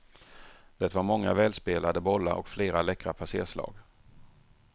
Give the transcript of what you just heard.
Det var många välspelade bollar och flera läckra passerslag.